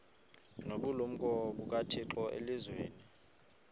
nobulumko bukathixo elizwini